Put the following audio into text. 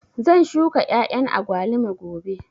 Zan shuka ƴaƴan agwaluma gobe